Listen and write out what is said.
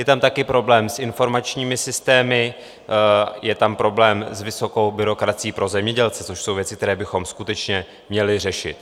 Je tam taky problém s informačními systémy, je tam problém s vysokou byrokracií pro zemědělce, což jsou věci, které bychom skutečně měli řešit.